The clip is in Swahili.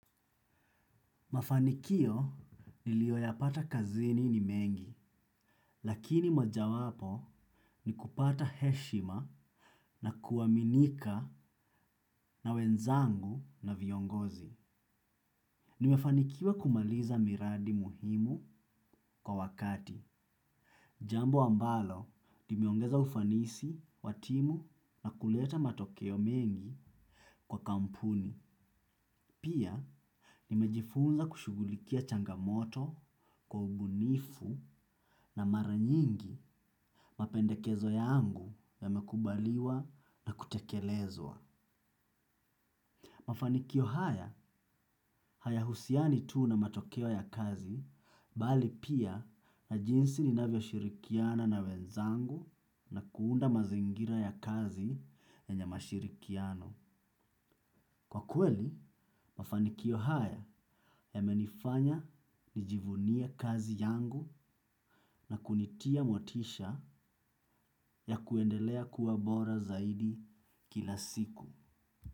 Mafanikio niliyoyapata kazini ni mengi, lakini mojawapo ni kupata heshima na kuaminika na wenzangu na viongozi. Nimefanikiwa kumaliza miradi muhimu kwa wakati. Jambo ambalo limeongeza ufanisi, wa timu na kuleta matokeo mengi kwa kampuni. Pia, nimejifunza kushughulikia changamoto kwa ubunifu na mara nyingi mapendekezo yangu yamekubaliwa na kutekelezwa. Mafanikio haya, hayahusiani tu na matokeo ya kazi, bali pia na jinsi ninavyoshirikiana na wenzangu na kuunda mazingira ya kazi yenye mashirikiano. Kwa kweli, mafanikio haya yamenifanya nijivunie kazi yangu na kunitia motisha ya kuendelea kuwa bora zaidi kila siku.